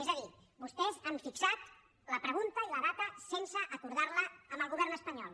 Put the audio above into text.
és a dir vostès han fixat la pregunta i la data sense acordar la amb el govern espanyol